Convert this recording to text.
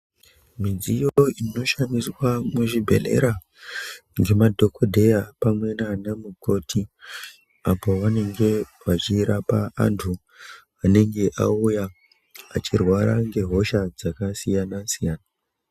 Mudziyo inoshandiswa muzvibhedhleya nemadhokodheya pamwe nanamukoti apo pavanenge vachirapa antu anenge achirwara ngehosha dzakasiyana siyana.